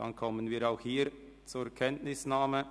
– Dann kommen wir auch hier zur Kenntnisnahme.